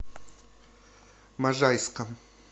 можайском